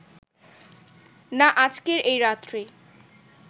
না আজকের এই রাত্রি